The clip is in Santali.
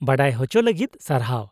ᱼᱵᱟᱰᱟᱭ ᱦᱚᱪᱚ ᱞᱟᱹᱜᱤᱫ ᱥᱟᱨᱦᱟᱣ ᱾